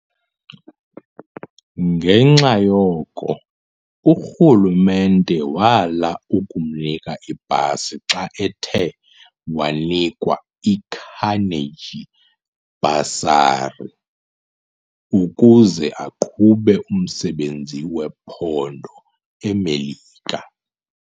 Ngenxa yoko, uRhulumente wala ukumnika ipasi xa ethe wanikwa iCarnegie bursary ukuze aqhube umsebenzi wophando eMelika.